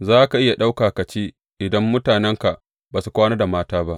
Za ka iya ɗauka ku ci idan mutanenka ba su kwana da mata ba.